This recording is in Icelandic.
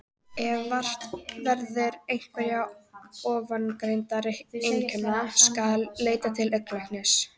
Ef vart verður einhverra ofangreindra einkenna skal leita til augnlæknis.